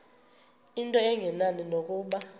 into engenani nokuba